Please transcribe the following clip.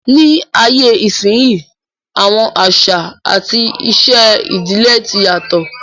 Ní ayé ìsínyi, àwọn àṣà àti ìṣe ìdílé tí n yàtọ̀